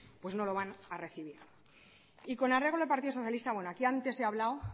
pues no lo van a recibir y con arreglo al partido socialista bueno aquí antes he hablado